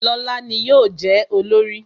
Lóla ni yọ je olorì